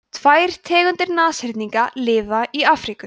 tvær tegundir nashyrninga lifa í afríku